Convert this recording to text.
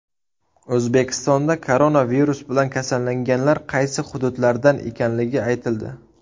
O‘zbekistonda koronavirus bilan kasallanganlar qaysi hududlardan ekanligi aytildi.